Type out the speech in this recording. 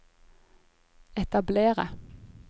etablere